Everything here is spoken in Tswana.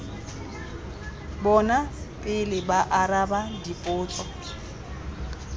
bona pele ba araba dipotso